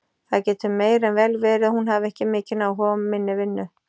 Það getur meir en vel verið að hún hafi ekki mikinn áhuga á minni vinnu.